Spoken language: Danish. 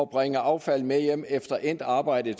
bringe affaldet med hjem efter endt arbejde